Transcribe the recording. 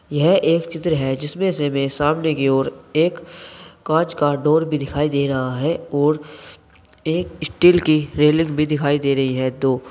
यह एक चित्र है जिसमें से हमे सामने की ओर एक कांच का डोर भी दिखाई दे रहा है और एक स्टील की रेलिंग भी दिखाई दे रही है दो।